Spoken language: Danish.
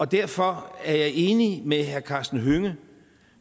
derfor er jeg enig med herre karsten hønge